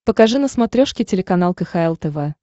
покажи на смотрешке телеканал кхл тв